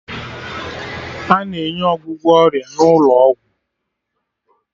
A na-enye ọgwụgwọ ọrịa n'ụlọ ọgwụ